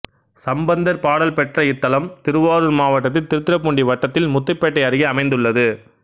சம்பந்தர் பாடல் பெற்ற இத்தலம் திருவாரூர் மாவட்டத்தில் திருத்துறைப்பூண்டி வட்டத்தில் முத்துப்பேட்டை அருகே அமைந்துள்ளது